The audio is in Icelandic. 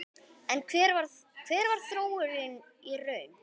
Hver varð þróunin í raun?